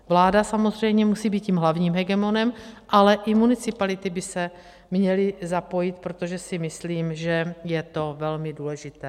Vláda samozřejmě musí být tím hlavním hegemonem, ale i municipality by se měly zapojit, protože si myslím, že je to velmi důležité.